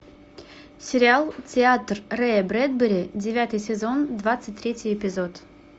сериал театр рэя брэдбери девятый сезон двадцать третий эпизод